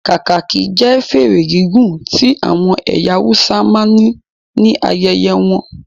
Kakaki jẹ́ fèrè gígùn tí àwọn ẹyà Hausa máa ń ní ayẹyẹ won